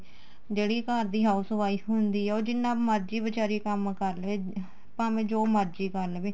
ਜਿਹੜੀ ਘਰ ਦੀ house wife ਹੁੰਦੀ ਏ ਉਹ ਜਿੰਨਾ ਮਰਜੀ ਬੀਚਾਰੀ ਕੰਮ ਕਰ ਲਏ ਭਾਵੇ ਜੋ ਮਰਜੀ ਕਰ ਲਵੇ